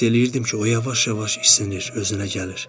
Hiss eləyirdim ki, o yavaş-yavaş isinir, özünə gəlir.